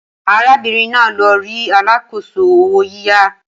Arábìnrin náà lọ rí alákòóso owó yíyá